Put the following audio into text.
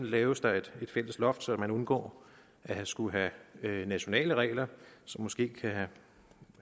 laves der et fælles loft så man undgår at skulle have nationale regler som måske